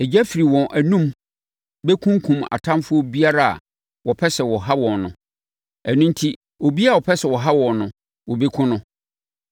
Egya firi wɔn anom bɛkunkum atamfoɔ biara a wɔpɛ sɛ wɔha wɔn no. Ɛno enti, obiara a ɔpɛ sɛ ɔha wɔn no, wɔbɛkum no.